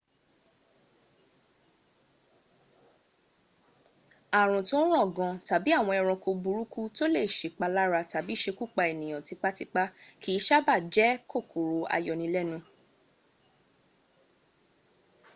ààrùn tó ń ràn gan tàbí àwọn ẹranko burúkú tó lè sèpalára tàbí sekúpa ènìyàn tipatipá kì í sábàá jẹ́ kòkòrò ayọnilẹ́nu